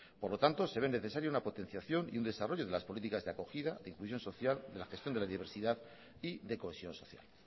por lo tanto se ve necesario una potenciación y un desarrollo de las políticas de acogida de inclusión social de la gestión de la diversidad y de cohesión social